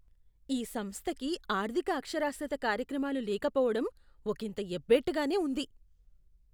ఈ సంస్థకి ఆర్థిక అక్షరాస్యత కార్యక్రమాలు లేకపోవడం ఒకింత ఎబ్బెట్టుగానే ఉంది.